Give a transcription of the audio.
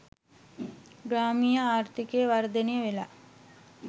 ග්‍රාමීය ආර්ථිකය වර්ධනය වෙලා.